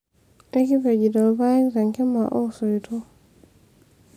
ekipejito ilpayek tenkima osoito